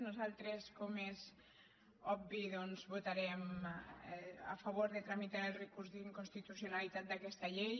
nosaltres com és obvi votarem a favor de tramitar el recurs d’inconstitucionalitat d’aquesta llei